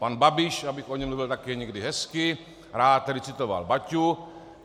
Pan Babiš, abych o něm mluvil také někdy hezky, rád tady citoval Baťu.